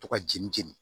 To ka jeni jeni